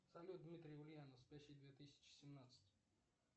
салют дмитрий ульянов спящий две тысячи семнадцать